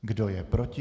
Kdo je proti?